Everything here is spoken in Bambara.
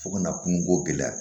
Fo ka na kungoko gɛlɛya